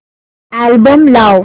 album लाव